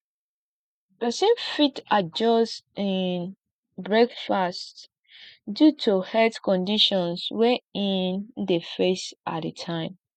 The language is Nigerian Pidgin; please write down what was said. pesin fit adjust in breakfast due to health conditions wey in dey face at di time